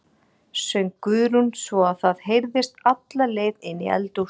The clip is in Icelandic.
söng Guðrún svo að það heyrðist alla leið inn í eldhús.